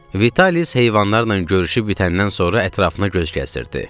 Vitalis heyvanlarla görüşüb bitəndən sonra ətrafına göz gəzdirirdi.